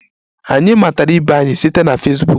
Anyị matara ibe anyị site na Fesbuk.